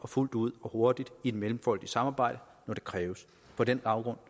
fuldt ud og hurtigt i et mellemfolkeligt samarbejde når det kræves på den baggrund